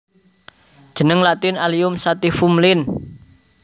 Jeneng Latin Allium sativum Linn